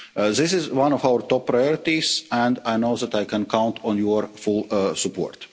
This is one of our top priorities and I know that they can count on your full support.